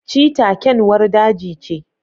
cheetah kyanwar daji ce